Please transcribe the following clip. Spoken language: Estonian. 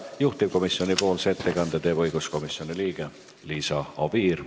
Juhtivkomisjoni ettekande teeb õiguskomisjoni liige Liisa Oviir.